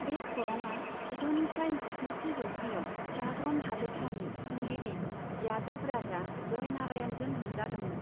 बे खरंआ जिद'निफ्राय जिस्निथि जौथायाव गाग्रन हादोरसानि खुंगिरि यादभ राजा जय नारायणजों लुजादोंमोन।